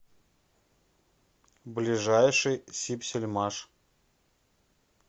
ближайший сибсельмаш